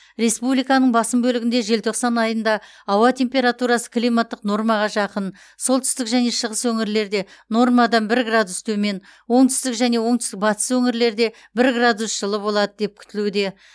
республиканың басым бөлігінде желтоқсан айында ауа температурасы климаттық нормаға жақын солтүстік және шығыс өңірлерде нормадан бір градус төмен оңтүстік және оңтүстік батыс өңірлерде бір градус жылы болады деп күтілуде